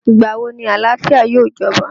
Ìgbà wo ni àlàáfíà yóò jọba?